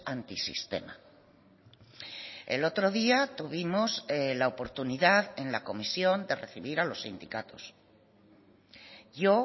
antisistema el otro día tuvimos la oportunidad en la comisión de recibir a los sindicatos yo